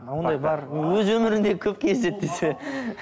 ондай бар өз өмірмде көп кездеседі десе